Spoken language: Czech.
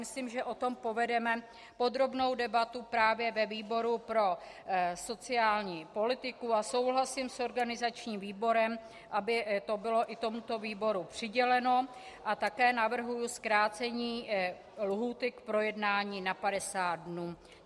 Myslím, že o tom povedeme podrobnou debatu právě ve výboru pro sociální politiku, a souhlasím s organizačním výborem, aby to bylo i tomuto výboru přiděleno, a také navrhuji zkrácení lhůty k projednání na 50 dnů.